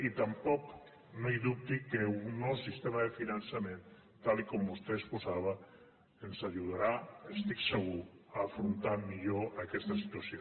i tampoc no dubti que el nou sistema de finançament tal com vostè exposava ens ajudarà n’estic segur a afrontar millor aquesta situació